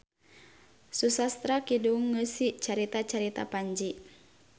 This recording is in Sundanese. Susastra kidung ngeusi carita-carita panji.